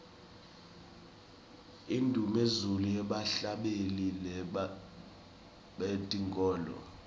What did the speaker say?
indumezulu yebahhlabeleli betenkholo